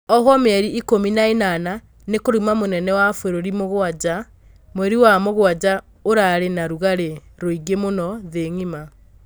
Ohwo mĩeri ikũmi na ĩnana nĩ kũruma mũnene wa bũrũri Mũgwanja. Mweri wa mũgwanja ũrarĩ na rũgarĩ mũingi mũno thĩ ng'ima?